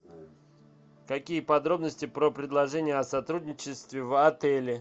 какие подробности про предложения о сотрудничестве в отеле